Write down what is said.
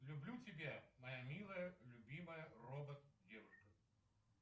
люблю тебя моя милая любимая робот девушка